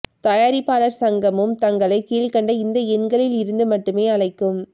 தயாரிப்பாளர் சங்கமும் தங்களை கீழ்க்கண்ட இந்த எண்களில் இருந்து மட்டுமே அழைக்கும்